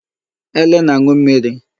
Ele na-aṅụ mmiri.